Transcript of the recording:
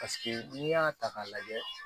n'i y'a ta k'a lajɛ